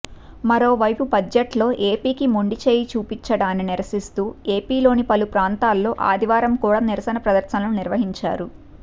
మరోవైపు బడ్జెట్లో ఏపీకి మొండిచెయ్యి చూపడాన్ని నిరసిస్తూ ఏపీలోని పలు ప్రాంతాల్లో ఆదివారం కూడా నిరసన ప్రదర్శనలు నిర్వహించారు